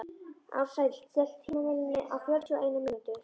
Ársæll, stilltu tímamælinn á fjörutíu og eina mínútur.